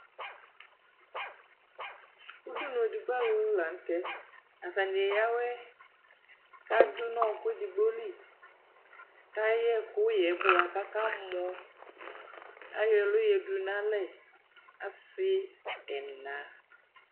Udunu edigbo alʋ la nʋ tɛ Atanɩ eyǝ awʋɛ kʋ adʋ nʋ ɔɣɔkʋ edigbo li kʋ ayɛ ɛkʋyɛ yɛ bʋa kʋ akamɔ Ayɔ ɛlʋ yǝdu nʋ alɛ asɩ ɛna